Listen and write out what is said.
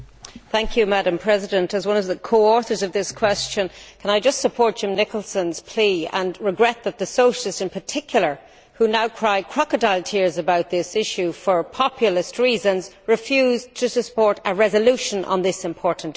Madam President, as one of the co authors of this question, can I just support Jim Nicholson's plea, regretting that the Socialists, in particular, who are now crying crocodile tears about this issue for populist reasons, refused to support a resolution on this important issue.